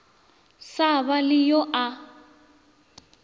sa ba le yo a